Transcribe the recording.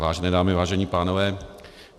Vážené dámy, vážení pánové.